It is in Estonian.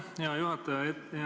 Aitäh, hea juhataja!